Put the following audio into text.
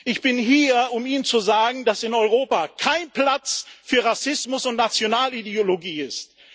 Ich bin hier, um Ihnen zu sagen, dass in Europa kein Platz für Rassismus und Nationalideologie ist.